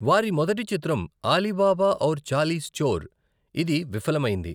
వారి మొదటి చిత్రం అలీబాబా ఔర్ చాలీస్ చోర్, ఇది విఫలమైంది.